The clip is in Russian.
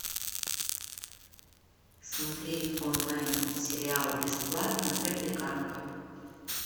смотреть онлайн сериал бесплатно тропиканка